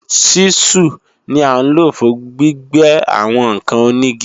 Ṣísù ni à ń lò fún gbígbẹ́ àwọn ǹkan onígi